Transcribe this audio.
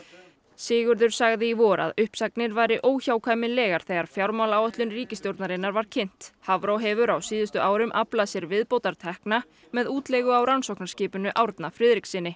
Sigurður sagði í vor að uppsagnir væru óhjákvæmilegar þegar fjármálaáætlun ríkisstjórnarinnar var kynnt Hafró hefur á síðustu árum aflað sér viðbótartekna með útleigu á rannsóknarskipinu Árna Friðrikssyni